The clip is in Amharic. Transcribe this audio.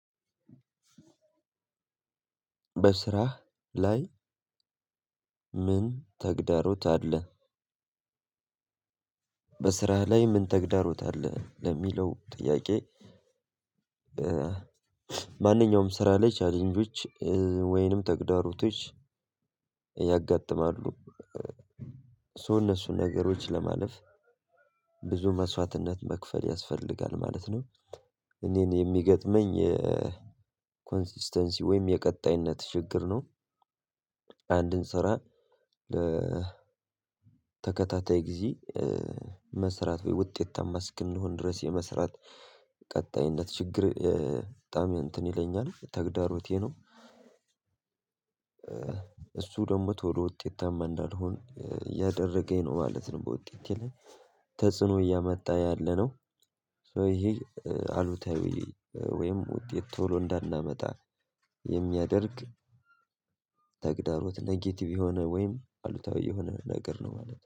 በስራ ላይ ምን ተግዳሮት አለ? በስራ ላይ ምን ተግዳሮት አለ ለሚለው ጥያቄ? ማንኛውም ስራ ላይ ቻሌንጆች ወይንም ተግዳሮቶች ያጋጥማሉ እሱ እነሱን ነገሮች ለማለፍ ብዙ መስዋዕትነት መክፈል ያስፈልጋል ማለት ነው። እኔን የሚገጥመኝ ኮንሲስተንሲ ወይም የቀጣይነት ችግር ነው። አንድን ስራ ተከታታይ ጊዜ መስራት ወይ ውጤታማ እንድንሆን ድረስ የመስራት ቀጣይነት ችግር በጣም እንትን ይለኛል ተግዳሮቴ ነው። እሱ ደግሞ ቶሎ ውጤታማ እንዳልሆን እያደረገኝ ነው ማለት ነው። በውጤቴ ላይ ተጽዕኖ እያመጣ ያለነው። ሶ ይሄ አሉታዊ ወይም ውጤት ቶሎ እንዳናመጣ የሚያደርግ ተግዳሮት ኔጌቲቭ የሆነ ወይም አሉታዊ የሆነ ነገር ነው ማለት ነው